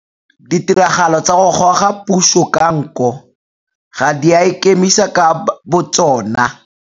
Ditiragalo tsa go goga puso ka nko ga di a ikemisa ka botsona.